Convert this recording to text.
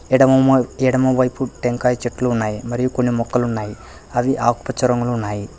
ఎడమ ఎడమవైపు టెంకాయ చెట్లు ఉన్నాయి మరియు కొన్ని మొక్కలు ఉన్నాయి అవి ఆకుపచ్చ రంగులు ఉన్నాయి.